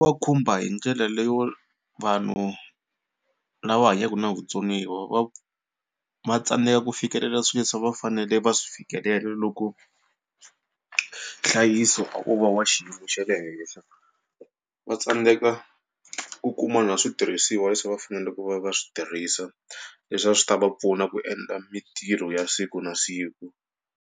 Va khumba hi ndlela leyo vanhu lava hanyaka na vutsoniwa va va tsandzeka ku fikelela swilo leswi a va fanele va swi fikelela loko nhlayiso wu va wa xiyimo xa le henhla. Va tsandzeka ku kuma na switirhisiwa leswi a va fanele ku va va swi tirhisa leswi a swi ta va pfuna ku endla mitirho ya siku na siku.